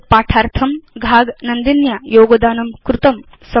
एतद्पाठार्थं घाग नन्दिन्या योगदानं कृतम्